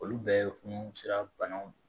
Olu bɛɛ ye funu sira banaw de ye